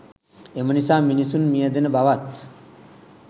එම නිසා මිනිසුන් මියැදෙන බවත්